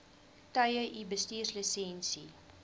tye u bestuurslisensie